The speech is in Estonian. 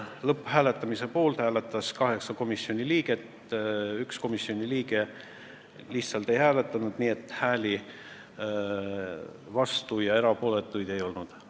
Lõpphääletusel hääletas poolt 8 komisjoni liiget, 1 komisjoni liige lihtsalt ei hääletanud, vastuolijaid ja erapooletuid ei olnud.